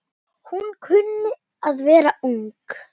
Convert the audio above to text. Hún kunni að vera ung.